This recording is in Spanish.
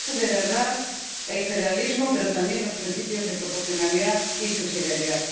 verdad el federalismo, pero también los principios de proporcionalidad y subsidiariedad.